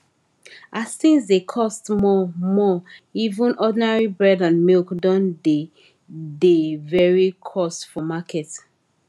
as things dey cost more more even ordinary bread and milk don dey dey very cost for market